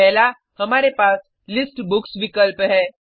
पहला हमारे पास लिस्ट बुक्स विकल्प है